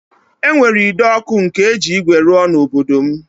E nwere ide ọkụ ndị eji ígwè rụọ n'obodo m